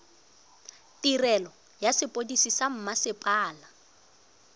tirelo ya sepodisi sa mmasepala